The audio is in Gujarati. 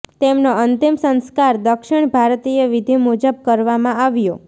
તેમનો અંતિમ સંસ્કાર દક્ષિણ ભારતીય વિધી મુજબ કરવામાં આવ્યો